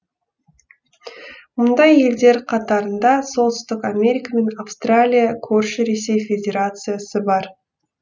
мұндай елдер қатарында солтүстік америка мен австралия көрші ресей федерациясы бар